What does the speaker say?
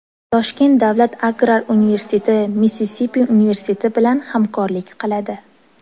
Toshkent davlat agrar universiteti Missisipi universiteti bilan hamkorlik qiladi.